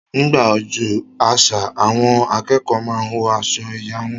Nígbà ọjọ́ àṣà, àwọn akẹ́kọ̀ọ́ máa n wọ aṣọ ẹ̀yà wọn